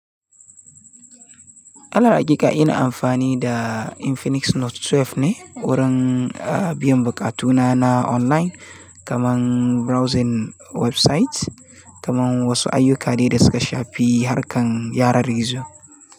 A hakika ina amfani da Infinix Note 12 ne wurin biyan bukatuna na online, kamar browsing websites, kamar wasu ayyuka da suka shafi harkar yanar gizo.